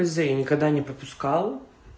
з я никогда не пропускал